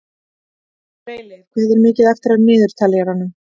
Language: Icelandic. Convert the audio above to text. Freyleif, hvað er mikið eftir af niðurteljaranum?